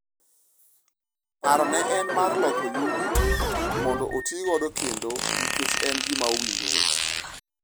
Paro ne en mar loko yugi mondo otigodo kendo nikech en gima owinjore.